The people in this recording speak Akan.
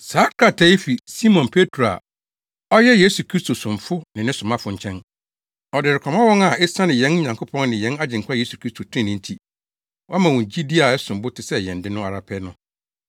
Saa krataa yi fi Simon Petro a ɔyɛ Yesu Kristo somfo ne ne somafo nkyɛn, Ɔde rekɔma wɔn a esiane yɛn Nyankopɔn ne yɛn Agyenkwa Yesu Kristo trenee nti, wɔama wɔn gyidi a ɛsom bo te sɛ yɛn de no ara pɛ no: